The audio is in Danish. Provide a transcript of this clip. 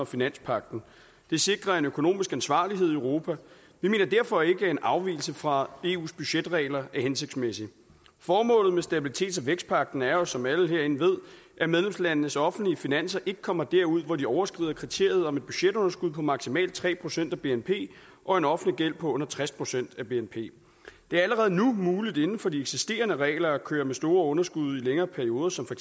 finanspagten de sikrer en økonomisk ansvarlighed i europa vi mener derfor ikke at en afvigelse fra eus budgetregler er hensigtsmæssig formålet med stabilitets og vækstpagten er jo som alle herinde ved at medlemslandenes offentlige finanser ikke kommer derud hvor de overskrider kriteriet om et budgetunderskud på maksimalt tre procent af bnp og en offentlig gæld på tres procent af bnp det er allerede nu muligt inden for de eksisterende regler at køre med store underskud i længere perioder som for